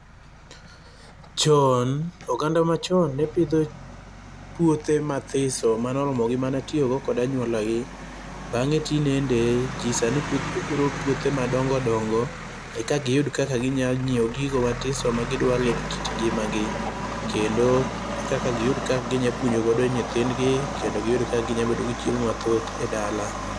Chon oganda machon ne pidho puothe mathiso manoromo gi tiyo go kod anyuolagi. Bang'e tindende jii sani puro pouthe madongo dongo eka giyud kaka ginya nyiewo gigo matiso magidware kit ngimagi, kendo e kaka giyud kaka ginya puonjo godo nyithindgi kendo giyud kaka ginya bedo gi chiemo mathoth e dala.